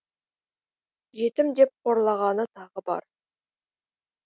жетім деп қорлағаны тағы бар